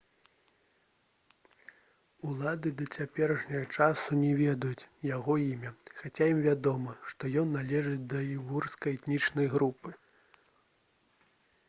улады да цяперашняга часу не ведаюць яго імя хаця ім вядома што ён належыць да ўйгурскай этнічнай групы